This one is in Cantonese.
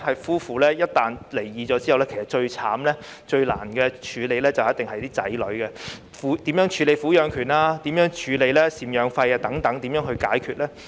夫婦一旦離婚，其實最可憐及最難處理的就是子女，他們的撫養權及贍養費該怎樣解決呢？